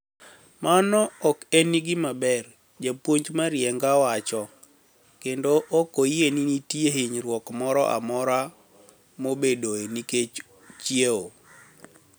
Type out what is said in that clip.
Mano ok eni gima ber", japuonij Marieniga wacho, kenido ok oyie nii niitie hiniyruok moro amora mabedoe niikech chiewo.